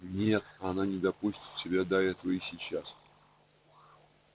нет она не допустит себя до этого и сейчас